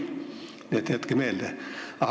Jätke see meelde!